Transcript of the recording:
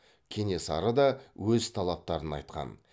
кенесары да өз талаптарын айтқан